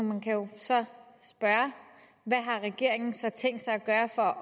man kan jo så spørge hvad har regeringen så tænkt sig at gøre for at